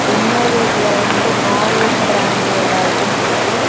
இன்னொரு இதுல வந்து நாற் வுட் பிராண்டோட ஐட்டம்ஸ் இருக்கு.